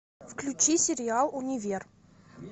включи сериал универ